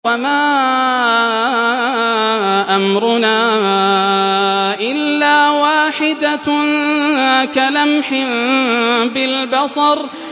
وَمَا أَمْرُنَا إِلَّا وَاحِدَةٌ كَلَمْحٍ بِالْبَصَرِ